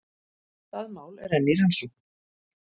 Það mál er enn í rannsókn